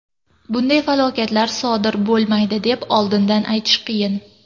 Bunday falokatlar sodir bo‘lmaydi deb oldindan aytish qiyin.